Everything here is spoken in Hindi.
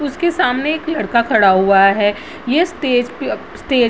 उसके सामने एक लड़का खड़ा हुआ है ये स्टेज पे स्टेज --